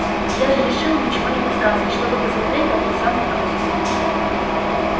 я же решила ничего не подсказывать чтобы посмотреть как он сам выкрутится